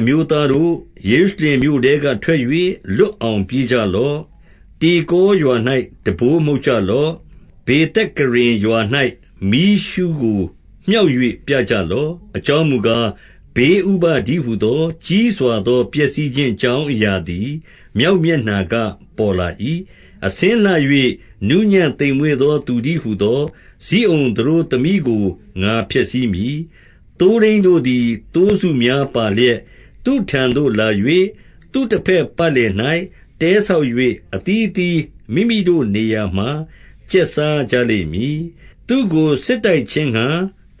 အမျိုးသားတို့၊ ယေရုရှလင်မြို့ထဲက ထွက်၍၊ လွတ်အောင်ပြေးကြလော့။ တေကောရွာ၌ တံပိုးမှုတ်ကြလော့။ ဗေသက္ကရင်ရွာ၌ မီးရှုးကို မြှောက်၍ ပြကြလော့။ အကြောင်းမူကား၊ ဘေးဥပဒ်တည်းဟူသော ကြီးစွာသော ပျက်စီးခြင်းအကြောင်းအရာသည် မြောက် မျက်နှာကပေါ်လာ၏။ 2 အဆင်းလှ၍ နူးညံ့သိမ်မွေ့သော သူတည်းဟူ သော ဇိအုန်သတို့ သမီးကို ငါဖျက်ဆီးမည်။ 3 သိုးထိန်းတို့သည် သိုးစုများပါလျက် သူ့ထံသို့ လာ၍၊ သူ့တဘက်ပတ်လည်၌ တဲဆောက်၍၊ အသီးအသီး မိမိတို့နေရာမှာ ကျက်စားကြလိမ့် မည်။ 4 သူ့ကို စစ်တိုက်ခြင်းငှါ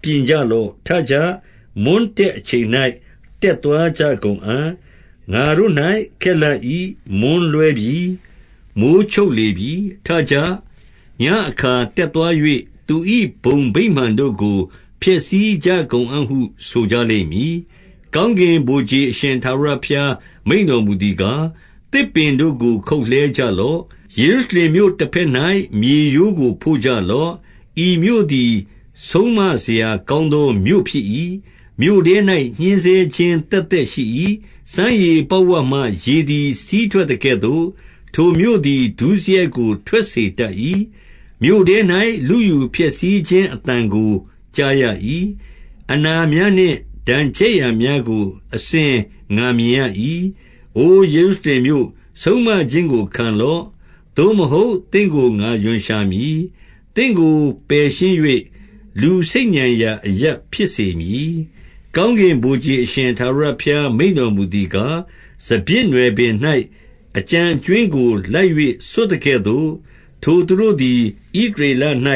ပြင်ကြလော့။ ထကြ။ မွန်းတည့်အချိန်၌ တက်သွားကြကုန်အံ့။ ငါတို့၌ ခက်လှ ၏။ မွန်းလွဲပြီ။ မိုဃ်းချုပ်လေပြီ။ 5 ထကြ။ ညဉ့်အခါတက်သွား၍၊ သူ၏ ဘုံဗိမာန် တို့ကို ဖျက်ဆီးကြကုန်အံ့ဟုဆိုကြလိမ့်မည်။ 6 ကောင်းကင်ဗိုလ်ခြေအရှင် ထာဝရဘုရား မိန့်တော်မူသည်ကား၊ သစ်ပင်တို့ကို ခုတ်လှဲကြလော့။ ယေရုရှလင်မြို့တဘက်၌ မြေရိုးကိုဖို့ကြလော့။ ဤမြို့ သည် ဆုံးမစရာကောင်းသောမြို့ဖြစ်၏။ မြို့ထဲ၌ညှဉ်းဆဲ ခြင်း သက်သက်ရှိ၏။ 7 စမ်းရေပေါက်ဝမှ ရေသည် စီးထွက်သကဲ့သို့၊ ထိုမြို့သည် ဒုစရိုက်ကို ထွက်စေတတ်၏။ မြို့ထဲ၌ လုယူ ဖျက်ဆီးခြင်းအသံကို ကြားရ၏။ အနာများနှင့် ဒဏ်ချက်ရာ များကို အစဉ်ငါမြင်ရ၏။ 8 အိုယေရုရှလင်မြို့၊ ဆုံးမခြင်းကို ခံလော့။ သို့မဟုတ်၊ သင့်ကို ငါရွံရှာမည်။ သင့်ကိုပယ်ရှင်း၍ လူဆိတ်ညံရာအရပ် ဖြစ်စေမည်။ 9 ကောင်းကင်ဗိုလ်ခြေအရှင်ထာဝရဘုရား မိန့်တော်မူသည်ကား၊ စပျစ်နွယ်ပင်၌ အကျန်အကြွင်းကို လိုက်၍ ဆွတ်သကဲ့သို့၊ ထိုသူတို့သည် ဣသရေလ၌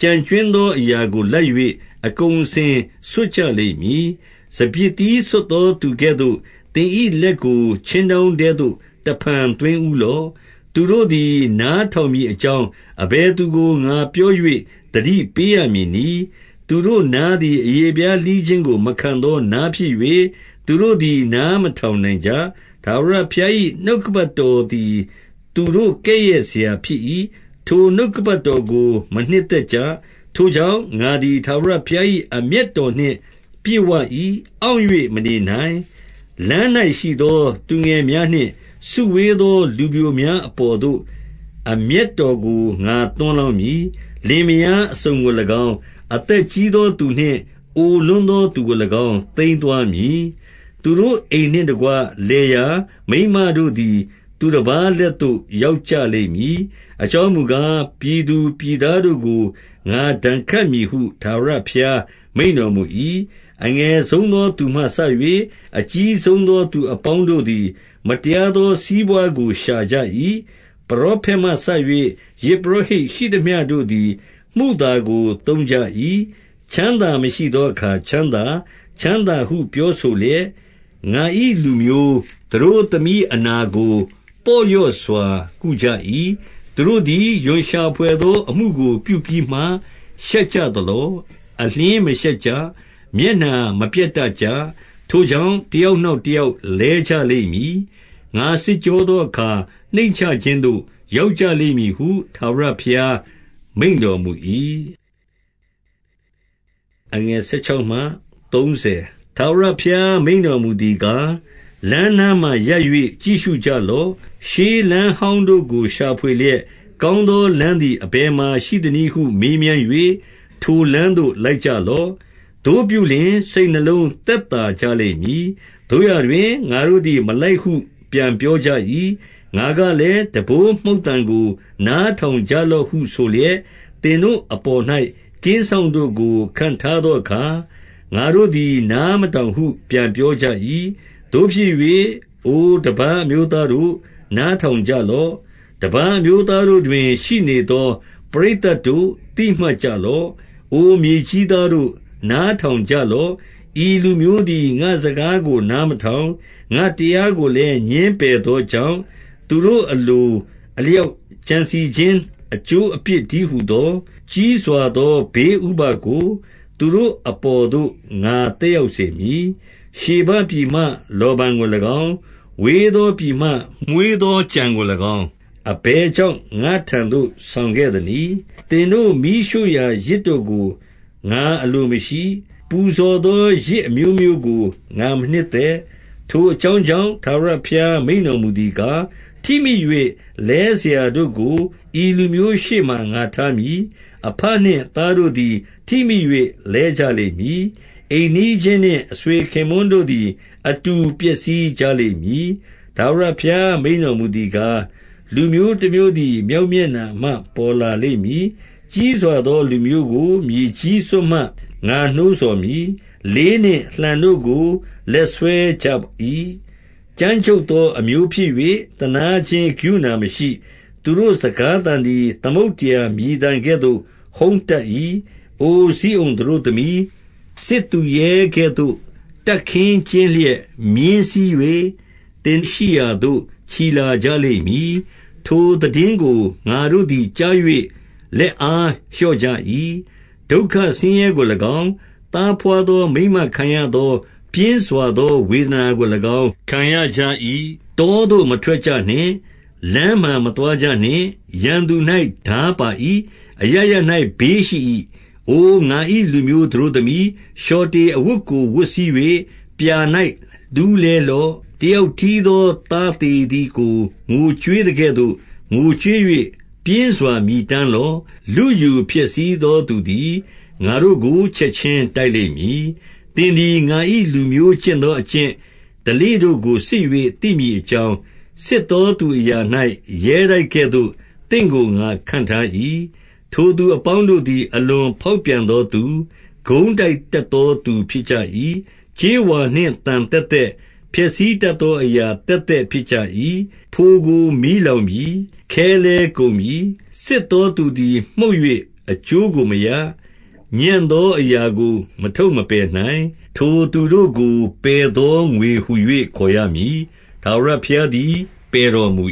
ကျန်ကြွင်းသော အရာကိုလိုက်၍ အကုန်အစင်ဆွတ်ကြ လိမ့်မည်။ စပျစ်သီးဆွတ်သော သူကဲ့သို့၊ သင်၏လက်ကို ခြင်းတောင်းထဲသို့ တဖန်သွင်းဦးလော့။ 10 သူတို့သည် နားထောင်မည်အကြောင်း၊ အဘယ် သူကို ငါပြော၍ သတိပေးရမည်နည်း။ သူတို့နားသည် အရေဖျားလှီးခြင်းမခံသော နားဖြစ်၍၊ သူတို့သည် နားမထောင်နိုင်ကြ။ ထာဝရဘုရား၏ နှုတ်ကပတ်တော်သည် သူတို့ကဲ့ရဲ့စရာဖြစ်၏။ ထိုနှုတ်ကပတ်တော် ကို မနှစ်သက်ကြ။ 11 ထိုကြောင့်၊ ငါသည်ထာဝရဘုရား၏ အမျက် တော်နှင့် ပြည့်ဝ၏။ အောင့်၍မနေနိုင်။ လမ်း၌ရှိသော သူငယ်များနှင့်စုဝေးသောလူပျိုများအပေါ်သို့ အမျက် တော်ကို ငါသွန်းလောင်းမည်။ လင်မယားအစုံကို၎င်း၊ အသက်ကြီးသောသူနှင့် အိုလွန်းသောသူကို၎င်း သိမ်း သွားမည်။ 12 သူတို့အိမ်နှင့်တကွ လယ်ယာ၊ မိန်းမတို့သည် သူတပါးလက်သို့ ရောက်ကြလိမ့်မည်။ အကြောင်းမူကား၊ ပြည်သူပြည်သားတို့ကို ငါဒဏ်ခတ်မည်ဟု ထာဝရဘုရား မိန့်တော်မူ၏။ 13 အငယ်ဆုံးသောသူမှစ၍ အကြီးဆုံးသော သူအပေါင်းတို့သည် မတရားသော စီးပွားကိုရှာကြ၏။ ပရောဖက်မှစ၍ ယဇ်ပုရောဟိတ်ရှိသမျှတို့သည် မုသာကို သုံးကြ၏။ 14 ချမ်းသာမရှိသောအခါ ချမ်းသာ၊ ချမ်းသာဟု ပြောဆိုလျက်၊ ငါ၏လူမျိုး သတို့သမီးအနာကို ပေါ့လျော့ စွာ ကုကြ၏။ 15 သူတို့သည် ရွံရှာဘွယ်သော အမှုကိုပြုပြီးမှ ရှောက်ကြသလော။ အလျှင်းမရှက်ကြ။ မျက်နှာမပျက် ကြ။ ထိုကြောင့်၊ တယောက်နောက်တယောက် လဲကြ လိမ့်မည်။ ငါစစ်ကြောသောအခါ နှိမ့်ချခြင်းသို့ ရောက်ကြ လိမ့်မည်ဟု ထာဝရဘုရား မိန့်တော်မူ၏။ 16 ထာဝရဘုရား မိန့်တော်မူသည်ကား၊ လမ်းနား မှာရပ်၍ ကြည့်ရှုကြလော့။ ရှေးလမ်းဟောင်းတို့ကို ရှာဖွေ လျက်၊ ကောင်းသောလမ်းသည် အဘယ်မှာရှိသနည်းဟု မေးမြန်း၍၊ ထိုလမ်းသို့လိုက်ကြလော့။ သို့ပြုလျှင်၊ စိတ် နှလုံး သက်သာကြလိမ့်မည်။ သို့ရာတွင်၊ ငါတို့သည် မလိုက်ဟု ပြန်ပြောကြ၏။ 17 ငါကလည်း၊ တံပိုးမှုတ်သံကို နားထောင်ကြ လော့ဟုဆိုလျက်၊ သင်တို့အပေါ်၌ကင်းစောင့်တို့ကို ခန့်ထားသောအခါ၊ ငါတို့သည် နားမထောင်ဟု ပြန်ပြော ကြ၏။ 18 သို့ဖြစ်၍၊ အိုတပါးအမျိုးသားတို့၊ နားထောင်ကြ လော့။ တပါးအမျိုးသားတို့တွင် ရှိနေသော ပရိသတ်တို့၊ သိမှတ်ကြလော့။ 19 အိုမြေကြီးသားတို့၊ နားထောင်ကြလော့။ ဤလူမျိုးသည် ငါ့စကားကို နားမတောင်၊ ငါ တရားကိုလည်း ငြင်းပယ်သောကြောင့်၊ သူတို့အလို အလျောက်ကြံစည်ခြင်းအကျိုးအပြစ်တည်းဟူသော၊ ကြီးစွာသော ဘေးဥပဒ်ကို၊ သူတို့အပေါ်သို့ငါသက်ရောက် စေမည်။ 20 ရှေဘပြည်မှ လောဗန်ကို၎င်း၊ ဝေးသောပြည်မှ မွှေးသောကြံကို၎င်း၊ အဘယ်ကြောင့် ငါ့ထံသို့ဆောင်ခဲ့ သနည်း။ သင်တို့မီးရှို့ရာ ယဇ်တို့ကို ငါအလိုမရှိ။ ပူဇော် သောယဇ်အမျိုးမျိုးကို ငါမနှစ်သက်။ 21 ထိုအကြောင်းကြောင့် ထာဝရဘုရားမိန့်တော် မူသည်ကား၊ ထိမိ၍ လဲစရာတို့ကို ဤလူမျိုးရှေ့မှာ ငါထားမည်။ အဘနှင့်သားတို့သည် ထိမိ၍ လဲကြလိမ့် မည်။ အိမ်နီးချင်းနှင့် အဆွေခင်ပွန်းတို့သည် အတူ ပျက်စီးကြလိမ့်မည်။ 22 ထာဝရဘုရား မိန့်တော်မူသည်ကား၊ လူမျိုး တမျိုးသည် မြောက်မျက်နှာမှ ပေါ်လာလိမ့်မည်။ ကြီးစွာ သော လူမျိုးကိုမြေကြီးစွန်းမှ ငါနှိုးဆော်မည်။ 23 လေးနှင့်လှံတို့ကို လက်စွဲကြ၏။ ကြမ်းကြုတ် သော အမျိုးဖြစ်၍၊ သနားခြင်းကရုဏာမရှိ။ သူတို့ စကားသံသည် သမုဒ္ဒရာမြည်သံကဲ့သို့ ဟုန်းတတ်၏။ အိုဇိအုန်သတို့သမီး၊ စစ်သူရဲကဲ့သို့ တပ်ခင်းကျင်းလျက် မြင်း စီး၍၊ သင်ရှိရာသို့ ချီလာကြလိမ့်မည်။ 24 ထိုသိတင်းကို ငါတို့သည် ကြား၍ လက်အား လျော့ကြ၏။ ဒုက္ခဆင်းရဲကို၎င်း၊ သားဘွားသော မိန်းမခံရ သကဲ့သို့ ပြင်းစွာသော ဝေဒနာကို ၎င်းခံရကြ၏။ 25 တောသို့မထွက်ကြနှင့်။ လမ်းမှာမသွားကြနှင့်။ ရန်သူ၌ ထားပါ၏။ အရပ်ရပ်၌ဘေးရှိ၏။ 26 အို ငါ၏လူမျိုးသတို့သမီး၊ လျှော်တေအဝတ်ကို ဝတ်စည်း၍ ပြာ၌လူးလည်းလော့။ တယောက်တည်း သော သားသေသည်ကို ငိုကြွေးသကဲ့သို့၊ ငိုကြွေး၍ ပြင်းစွာ မြည်တမ်းလော့။ လုယူဖျက်ဆီးသောသူသည် ငါတို့ ကို ချက်ခြင်းတိုက်လိမ့်မည်။ 27 သင်သည် ငါ၏ လူမျိုးကျင့်သော အကျင့်ဓလေ့ တို့ကို စစ်၍ သိမည်အကြောင်း၊ စစ်သောသူအရာ၌ ရဲတိုက်ကဲ့သို့ သင့်ကို ငါခန့်ထား၏။ 28 ထိုသူအပေါင်းတို့သည် အလွန်ဖောက်ပြန်သော သူ၊ ကုန်းတိုက်တတ်သောသူ ဖြစ်ကြ၏။ ကြေးဝါနှင့် သံသက်သက်၊ ဖျက်တတ်သော အရာသက်သက်ဖြစ်ကြ ၏။ 29 ဖိုကိုမီးလောင်ပြီ။ ခဲလည်းကုန်ပြီ။ စစ်သော သူသည် မှုတ်၍ အကျိုးကိုမရ။ ညံ့သောအရာကို မထုတ် မပယ်နိုင်။ 30 ထိုသူတို့ကိုပယ်သော ငွေဟူ၍ ခေါ်ရမည်။ ထာဝရဘုရားသည် ပယ်တော်မူ